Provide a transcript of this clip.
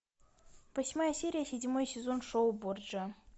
восьмая серия седьмой сезон шоу борджиа